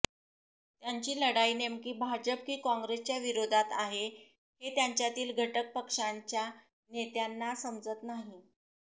त्यांची लढाई नेमकी भाजप की काँग्रेसच्या विरोधात आहे हे त्यांच्यातील घटक पक्षांच्या नेत्यांना समजत नाही